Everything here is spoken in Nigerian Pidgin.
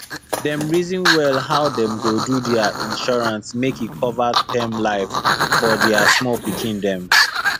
dem reason well how dem go do their insurance make e cover term life for their small pikin dem